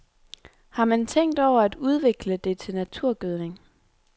Har man tænkt over at udvikle det til naturgødning?